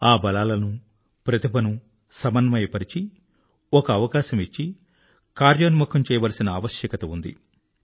ఆ బలాలను టాలెంట్ ను సమన్వయపరిచి ఒక అవకాశం ఇచ్చి కార్యాన్వితం చేయవలసిన ఆవశ్యకత ఉంది